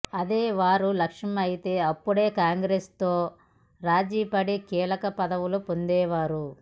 అదే వారి లక్ష్యమైతే అప్పుడే కాంగ్రెస్తో రాజీపడి కీలక పదవులు పొందేవారు